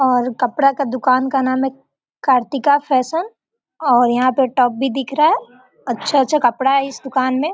और कपड़ा का दुकान का नाम है कार्तिका फैशन और यहाँ पे टब भी दिख रहा है अच्छा-अच्छा कपड़ा है इस दुकान में।